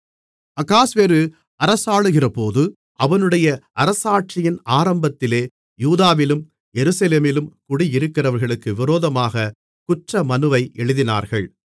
அகாஸ்வேரு அரசாளுகிறபோது அவனுடைய அரசாட்சியின் ஆரம்பத்திலே யூதாவிலும் எருசலேமிலும் குடியிருக்கிறவர்களுக்கு விரோதமாகக் குற்ற மனுவை எழுதினார்கள்